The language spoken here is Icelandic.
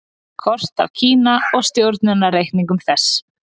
Kort af Kína og stjórnunareiningum þess.